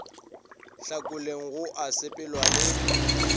hlakoleng go a sepelwa le